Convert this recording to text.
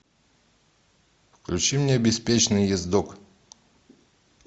включи мне беспечный ездок